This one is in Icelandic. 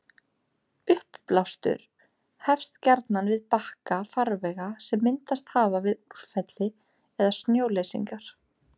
uppblástur hefst gjarnan við bakka farvega sem myndast hafa við úrfelli eða snjóleysingar